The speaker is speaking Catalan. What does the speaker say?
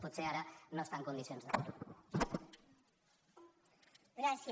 potser ara no està en condicions de fer ho